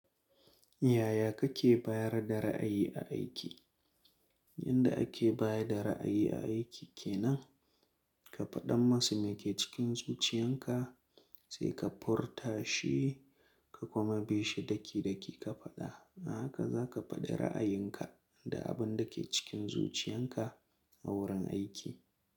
Yaya kake bayar da ra'ayi a aiki? Yanda ake baya da ra'ayi aiki kenan, ka faɗan masa me ke cikin zuciyan ka sai ka furta shi ka kuma bi shi daki daki ka faɗa. A haka zaka faɗi ra'ayin ka da abin da ke cikin zuciyan ka a wurin aiki.